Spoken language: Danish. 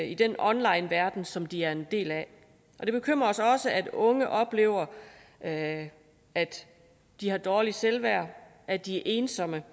i den onlineverden som de er en del af det bekymrer os også at unge oplever at at de har dårligt selvværd og at de er ensomme